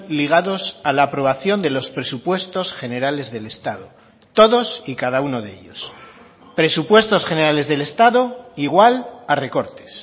ligados a la aprobación de los presupuestos generales del estado todos y cada uno de ellos presupuestos generales del estado igual a recortes